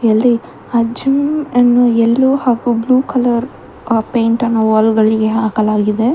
ಇಲ್ಲಿ ಆ ಜಿಮ್ ಅನ್ನು ಎಲ್ಲೋ ಹಾಗೂ ಬ್ಲೂ ಕಲರ್ ಪೇಂಟ್ ಅನ್ನು ವಾಲ್ ಗಳಿಗೆ ಹಾಕಲಾಗಿದೆ.